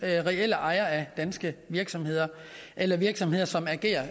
reelle ejere af danske virksomheder eller virksomheder som agerer